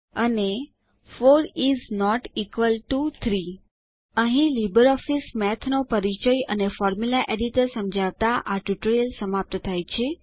અને 4 is not equal to 3 અહીં LibreOffice Math નો પરિચય અને ફોર્મ્યુલા એડિટર સમજાવતા આ ટ્યુટોરીયલ સમાપ્ત થાય છે